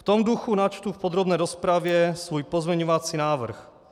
V tom duchu načtu v podrobné rozpravě svůj pozměňovací návrh.